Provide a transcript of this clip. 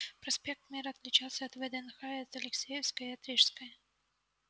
проспект мира отличался и от вднх и от алексеевской и от рижской